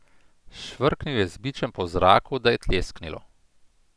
Švrknil je z bičem po zraku, da je tlesknilo.